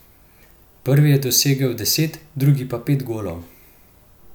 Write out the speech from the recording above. Prvi je dosegel deset, drugi pa pet golov.